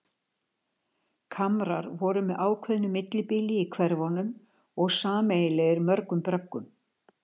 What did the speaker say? Kamrar voru með ákveðnu millibili í hverfunum og sameiginlegir mörgum bröggum.